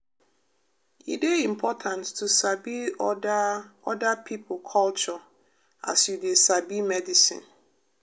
e dey important to sabi oda oda pipo culture as you dey sabi medicine.